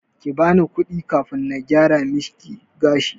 Kibani kudi kafin na gyara miki gashi.